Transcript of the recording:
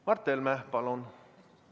Mart Helme, palun!